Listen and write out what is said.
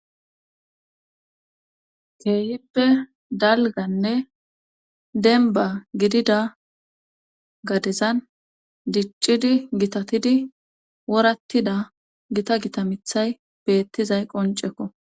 keehippe dalganne denbba gidida gadezan diccidi gitatidi worattida gita gita mithay beettizay qoncekko